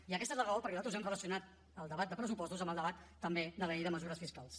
i aquesta és la raó per la qual nosaltres hem relacionat el debat de pressupostos amb el debat també de la llei de mesures fiscals